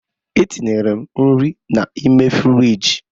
Etinyere m nri n'ime frịjị.